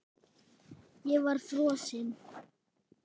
Ég var frosin.